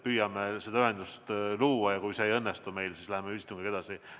Püüame ühendust luua ja kui see ei õnnestu, siis läheme istungiga edasi.